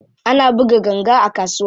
Ana buga ganga a kasuwa.